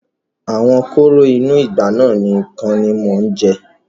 Àwọn kóró inú ìgbá náà nìkan ni mo jẹ.'